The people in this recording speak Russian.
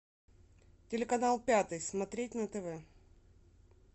телеканал пятый смотреть на тв